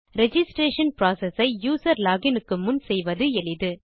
registration process ஐ user login க்கு முன் செய்வது எளிது